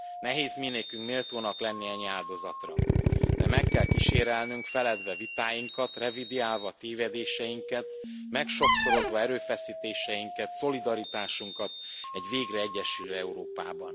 Nehéz minékünk méltónak lenni ennyi áldozatra, de meg kell kísérelnünk, feledve vitáinkat, revideálva tévedéseinket, megsokszorozva erőfeszítéseinket, szolidaritásunkat egy végre egyesülő Európában.